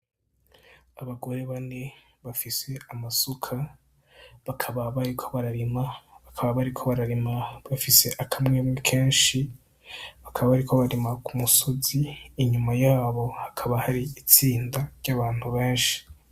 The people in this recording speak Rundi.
Abagore bane bafise amasuka bakaba bariko bararima , bakaba bariko bararima bafise akamwemwe kenshi bakaba bariko barima kumusozi inyuma yabo hakaba hari itsinda ryabantu benshi.